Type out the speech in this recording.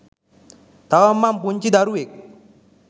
තවම මං පුංචි දරුවෙක්.